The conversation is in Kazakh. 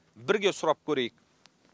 бірге сұрап көрейік